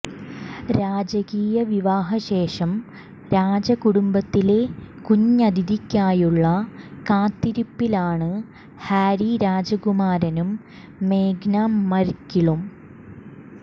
രാജകീയ വിവാഹ ശേഷം രാജകുടുംബത്തിലെ കുഞ്ഞതിഥിക്കായുള്ള കാത്തിരിപ്പിലാണ് ഹാരി രാജകുമാരനും മേഗന് മര്ക്കിളും